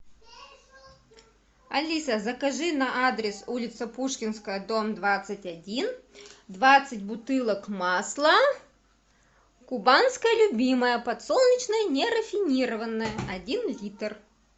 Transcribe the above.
алиса закажи на адрес улица пушкинская дом двадцать один двадцать бутылок масла кубанское любимое подсолнечное нерафинированное один литр